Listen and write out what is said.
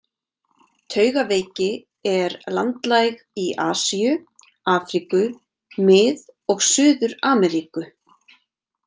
Taugaveiki er landlæg í Asíu, Afríku, Mið- og Suður-Ameríku.